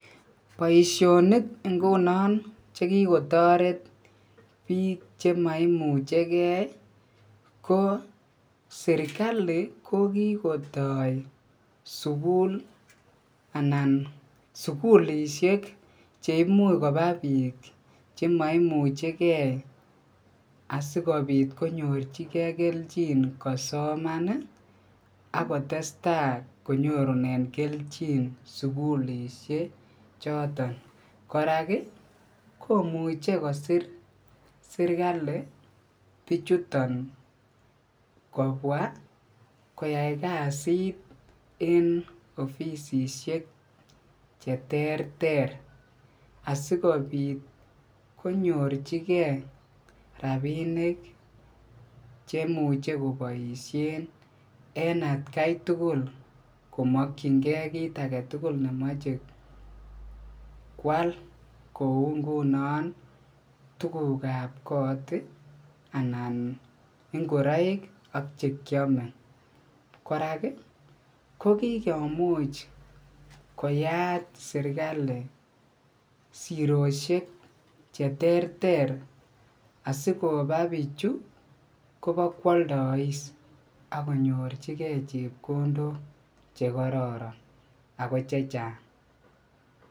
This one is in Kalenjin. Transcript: Boishonik ngunon chekokotoret biik chemaimuchegei ko serikali ko kikotoi sukul anan sukulishek cheimuch koba piik chemaimuchikei asikopit konyorchingei kelchin kosoman akotestai konyorune kelchin sukulishek choton kora komuchi kosir serikali kopwa koyai kasit eng ofisisiek che ter ter asikopit konyorchingei rapinik cheimuche koboishe en atkai tugul komokchingei kiit agetugul nemachei koal kou nguno tuguk ap koot anan ingoroikak chekiame kora kokikomuch kiyaat serikali siroshek che ter ter sikoba pichu koboko aldois akinyorchike chepkondok chekororon ako che chang